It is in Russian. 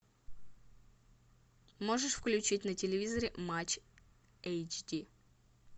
можешь включить на телевизоре матч эйч ди